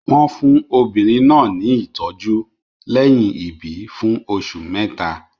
Wọ́n fún obìnrin náà ní ìtọ́jú lẹ́yìn ìbí fún oṣù mẹ́ta.